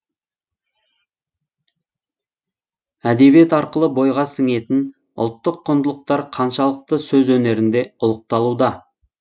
әдебиет арқылы бойға сіңетін ұлттық құндылықтар қаншалықты сөз өнерінде ұлықталуда